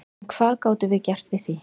En hvað gátum við gert að því?